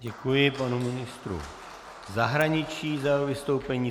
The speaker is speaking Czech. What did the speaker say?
Děkuji panu ministru zahraničí za jeho vystoupení.